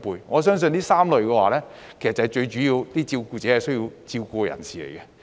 我相信這3類人士是最主要需要照顧者照顧的人。